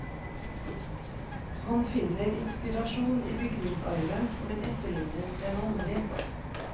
Han finner inspirasjon i bygningsarven, men etterligner den aldri.